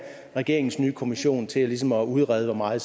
regeringens nye kommission til ligesom at udrede hvor meget